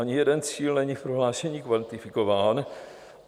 Ani jeden cíl není v prohlášení kvantifikován.